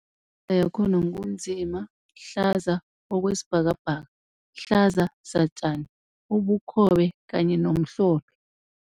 Imibala yakhona ngu nzima, hlaza okwesibhakabhaka, hlaza satjani, ubukhobe kanye nomhlophe.